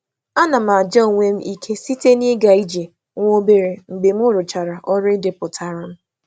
A na m eme onwe m ekele site n’ịga ije obere mgbe m gụsịrị ndepụta nhicha m.